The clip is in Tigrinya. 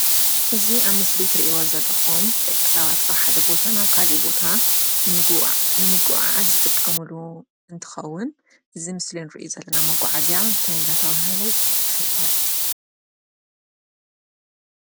እዙ ኣብ ምስሊ ትርኢዎ ዘለኹም ደቂ ሰባት ካብሓደ ቦታና ካልእ ቦታ ንምጉዓዝ ዝጥቀሙሉ እንትኸውን ዝምስልንር ዘለና መጕዓ እዚያ እንታይ እንዳተብሃለ ይፍለጥ።